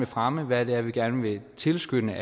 fremme hvad det er vi gerne vil tilskynde